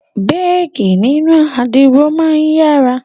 Béèkí nínú àdìro máa ń yára